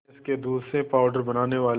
भैंस के दूध से पावडर बनाने वाले